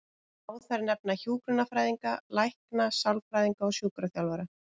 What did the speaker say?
Má þar nefna hjúkrunarfræðinga, lækna, sálfræðinga og sjúkraþjálfara.